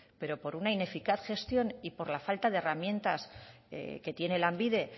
pero por una ineficaz gestión y por la falta de herramientas que tiene lanbide